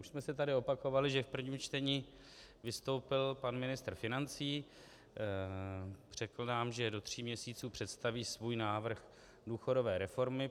Už jsme se tady opakovali, že v prvním čtení vystoupil pan ministr financí, řekl nám, že do tří měsíců představí svůj návrh důchodové reformy.